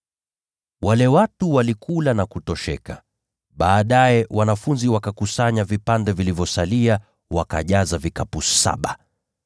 Wale watu walikula na kutosheka. Baadaye wanafunzi wakakusanya vipande vilivyosalia, wakajaza vikapu saba.